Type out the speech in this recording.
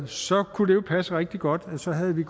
så kunne det passe rigtig godt og så havde vi